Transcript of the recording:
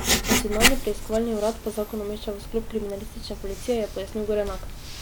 Nacionalni preiskovalni urad pa zakon umešča v sklop kriminalistične policije, je pojasnil Gorenak.